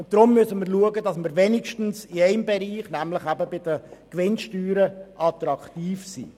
Deshalb müssen wir darauf achten, dass wir wenigstens in einem Bereich, nämlich bei den Gewinnsteuern, attraktiv sind.